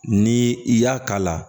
Ni i y'a k'a la